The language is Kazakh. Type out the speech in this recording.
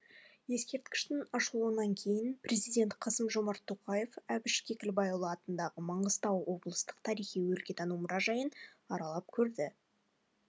ескерткіштің ашылуынан кейін президент қасым жомарт тоқаев әбіш кекілбайұлы атындағы маңғыстау облыстық тарихи өлкетану мұражайын аралап көрді